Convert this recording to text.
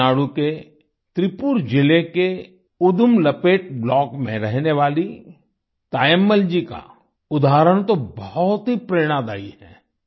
तमिलनाडु के त्रिप्पुर जिले के उदुमलपेट ब्लॉक में रहने वाली तायम्मल जी का उदाहरण तो बहुत ही प्रेरणादायी है